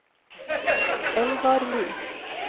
Elvarli